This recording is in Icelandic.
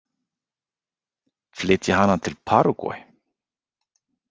Flytja hana til Paragvæ?